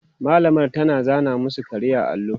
mallamar ta zana masu kare a allo